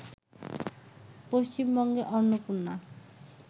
পশ্চিমবঙ্গে অন্নপূর্ণা